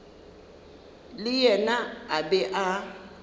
le yena a be a